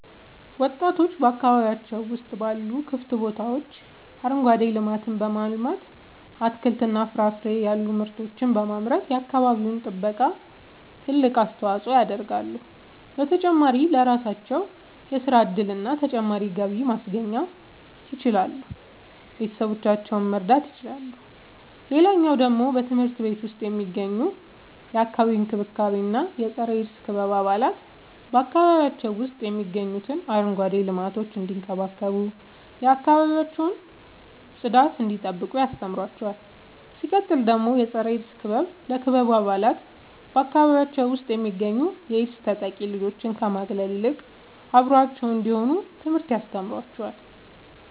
ወጣቶች በአካባቢያቸው ውስጥ ባሉ ክፍት ቦታዎች አረንጓዴ ልማትን በማልማት አትክልትና ፍራፍሬ ያሉ ምርቶችን በማምረት የአካባቢው ጥበቃ ትልቅ አስተዋጽኦ ያደርጋሉ። በተጨማሪም ለራሳቸው የሥራ እድልና ተጨማሪ ገቢ ማስገኘት ይችላሉ ቤተሰቦቻቸውን መርዳት ይችላሉ። ሌላኛው ደግሞ በትምህርት ቤት ውስጥ የሚገኙ የአካባቢ እንክብካቤ እና የፀረ -ኤድስ ክበብ አባላት በአካባቢያቸው ውስጥ የሚገኙትን አረንጓዴ ልማቶች እንዲንከባከቡ የአካባቢያቸውን ጽዳት እንዲጠብቁ ያስተምሯቸዋል። ሲቀጥል ደግሞ የፀረ-ኤድስ ክበብ ለክበቡ አባላት በአካባቢያቸው ውስጥ የሚገኙ የኤድስ ተጠቂ ልጆችን ከመግለል ይልቅ አብረዋቸው እንዲሆኑ ትምህርትን ያስተምራቸዋል።